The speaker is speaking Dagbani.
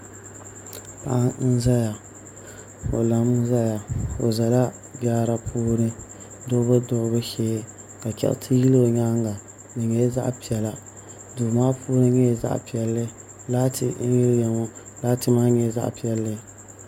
Paɣa n ʒɛya o lami ʒɛya o ʒɛla jaara puuni duɣubu duɣubu shee ka chɛriti yili o nyaanga di nyɛla zaɣ piɛla Duu maa puuni nyɛla zaɣ piɛlli laati n yiliya ŋo laati maa nyɛla zaɣ piɛlli